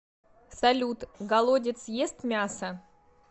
салют голодец ест мясо